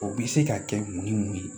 O bi se ka kɛ mun ni mun ye